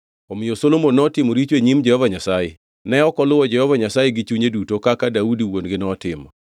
Omiyo Solomon notimo richo e nyim Jehova Nyasaye, ne ok oluwo Jehova Nyasaye gi chunye duto kaka Daudi wuon-gi notimo.